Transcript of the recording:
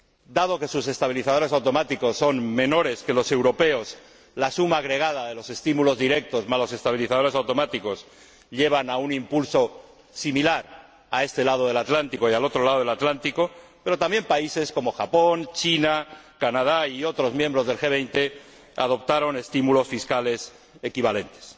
Dado que sus estabilizadores automáticos son menores que los europeos, la suma agregada de los estímulos directos más los estabilizadores automáticos llevan a un impulso similar a este lado del Atlántico y al otro lado del Atlántico, pero también países como Japón, China, Canadá y otros miembros del G 20 adoptaron estímulos fiscales equivalentes.